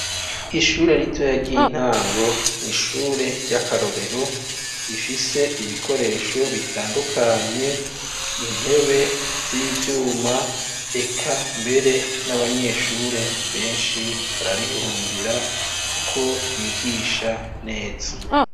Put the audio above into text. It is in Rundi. Ishure ritoya ry'intango n'ishure ryakarorero rifise ibikoresho bitandukanye , intebe z'ivyuma eka mbere n'abanyeshure benshi bararihurumbira kuko ryigisha neza.